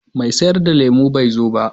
Mai sayar da lemu bai zo ba.